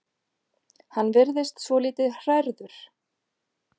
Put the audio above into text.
Hann virðist svolítið hrærður.